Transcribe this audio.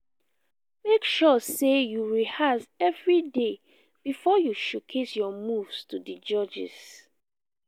make sure say you rehearse every day before you showcase your moves to di judges